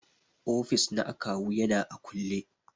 Ofis na akawu yana a kulle.